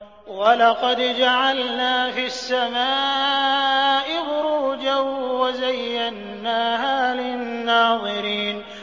وَلَقَدْ جَعَلْنَا فِي السَّمَاءِ بُرُوجًا وَزَيَّنَّاهَا لِلنَّاظِرِينَ